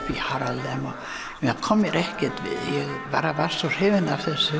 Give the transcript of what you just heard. kom mér ekkert við ég bara var svo hrifin af þessu